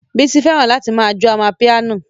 Bísí fẹ́ràn láti ma jó amapiano